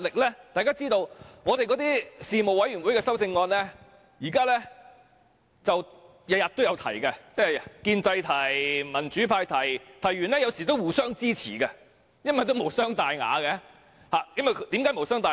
正如大家知道，我們每天也在事務委員會提出修正案，建制派提出，民主派也提出，有時候會互相支持，因為無傷大雅，為何無傷大雅？